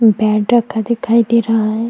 Bad रखा दिखाई दे रहा हैं।